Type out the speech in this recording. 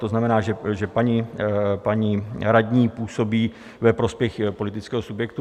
To znamená, že paní radní působí ve prospěch politického subjektu.